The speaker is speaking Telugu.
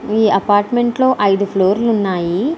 ఈ అపార్ట్మెంట్లోని ఐదు ఫ్లోర్లు ఉన్నాయి.